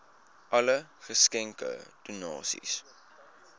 alle geskenke donasies